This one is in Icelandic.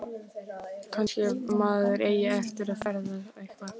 Kannski maður eigi eftir að feðra eitthvað.